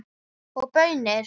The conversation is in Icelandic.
Og baunir.